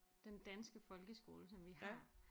Den danske folkeskole som vi har